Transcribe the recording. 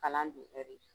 Kalan don ɛri